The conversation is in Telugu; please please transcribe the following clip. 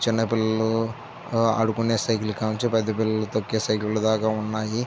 చిన్న పిల్లలు ఆడుకునే సైకిల్ కాడి నుండి పెద్ద పిల్లలు తొక్కే సైకిల్ దాక వున్నాయి.